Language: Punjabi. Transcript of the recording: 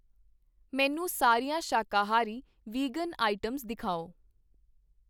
ਮੈਨੂੰ ਸਾਰੀਆਂ ਸ਼ਾਕਾਹਾਰੀ ਵਿਗਨ ਆਇਟਮਸ ਦਿਖਾਓ